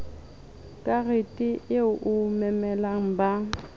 karete eo o memelang ba